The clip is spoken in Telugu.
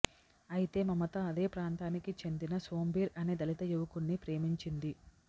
అయితే మమత అదే ప్రాంతానికి చెందిన సోంబీర్ అనే దళిత యువకున్ని ప్రేమించింది